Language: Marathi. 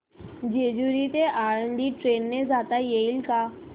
जेजूरी ते आळंदी ट्रेन ने जाता येईल का